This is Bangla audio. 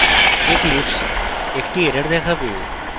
eclipse একটি error দেখাবে